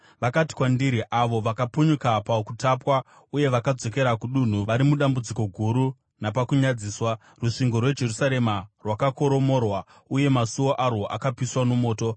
Vakati kwandiri, “Avo vakapunyuka pakutapwa uye vakadzokera kudunhu vari mudambudziko guru napakunyadziswa. Rusvingo rweJerusarema rwakakoromorwa, uye masuo arwo akapiswa nomoto.”